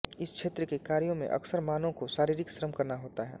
इस क्षेत्र के कार्यों में अक्सर मानव को शारीरिक श्रम करना होता है